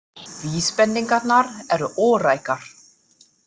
Vísbendingarnar eru órækar.